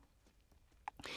DR2